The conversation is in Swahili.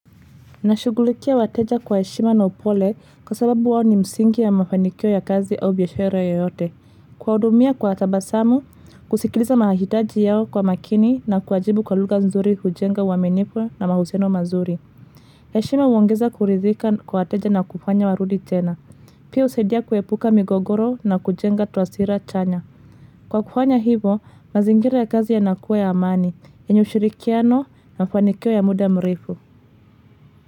Nashugulikia wateja kwa heshima na upole kwa sababu wawo ni msingi ya mafanikio ya kazi au biashara yoyote. Kwaudumia kwa tabasamu, kusikiliza mahahitaji yao kwa makini na kuwajibu kwa luga nzuri hujenga waminifu na mahusiano mazuri. Yeshima uongeza kuridhika kwa wateja na kufanya warudi jena. Pia usaidia kuepuka migogoro na kujenga taswira chanya. Kwa kufanya hivo, mazingira ya kazi yanakua ya amani, yenye ushirikiano ya mafanikio ya muda mrefu.